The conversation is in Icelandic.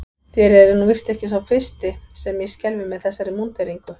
Þér eruð nú víst ekki sá fyrsti sem ég skelfi með þessari múnderingu.